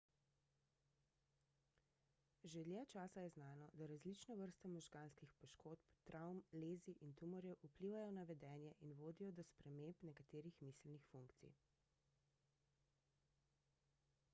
že dlje časa je znano da različne vrste možganskih poškodb travm lezij in tumorjev vplivajo na vedenje in vodijo do sprememb nekaterih miselnih funkcij